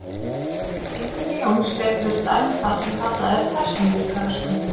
Einkenni Jóns gætu verið dæmi um það sem kallað er persónuleikaröskun.